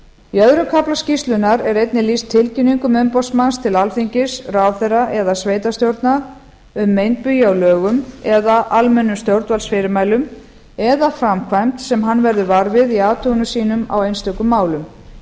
í öðrum kafla skýrslunnar er einnig lýst tilkynningum umboðsmanns til alþingis ráðherra eða sveitarstjórna um meinbugi á lögum eða almennum stjórnvaldsfyrirmælum eða framkvæmd sem hann verður var við í athugunum sínum á einstökum málum